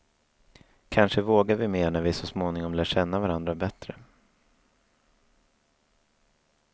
Kanske vågar vi mer när vi så småningom lär känna varandra bättre.